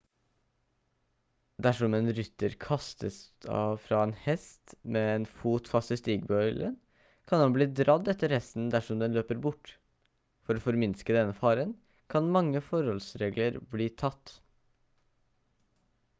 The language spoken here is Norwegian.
dersom en rytter kastes fra en hest med en fot fast i stigbøylen kan han bli dradd etter hesten dersom den løper bort for å forminske denne faren kan mange forholdsregler bli tatt